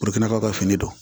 O de fana b'aw ka fini don